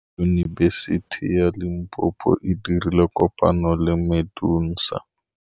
Yunibesiti ya Limpopo e dirile kopanyô le MEDUNSA.